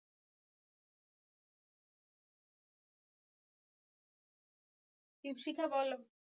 দ্বীপশিখা বলো?